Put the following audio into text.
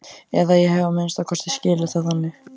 Eða ég hef að minnsta kosti skilið það þannig.